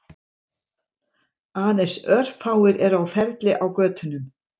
Aðeins örfáir eru á ferli á götunum